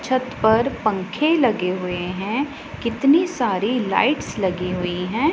छत पर पंख लगे हुए हैं कितनी सारी लाइट्स लगी हुई है।